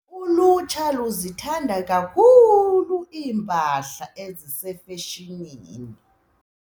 Ulutsha luzithanda kakhulu iimpahla ezisefeshinini.